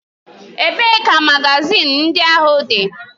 Ebee ka magazin ndị ahụ dị?